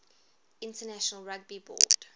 international rugby board